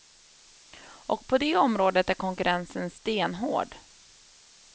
Och på det området är konkurrensen stenhård.